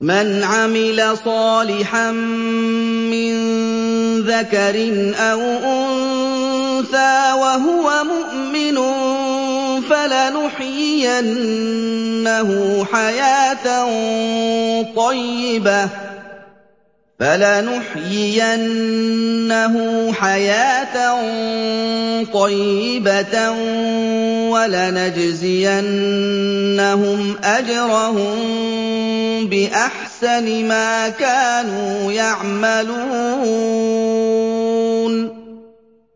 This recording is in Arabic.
مَنْ عَمِلَ صَالِحًا مِّن ذَكَرٍ أَوْ أُنثَىٰ وَهُوَ مُؤْمِنٌ فَلَنُحْيِيَنَّهُ حَيَاةً طَيِّبَةً ۖ وَلَنَجْزِيَنَّهُمْ أَجْرَهُم بِأَحْسَنِ مَا كَانُوا يَعْمَلُونَ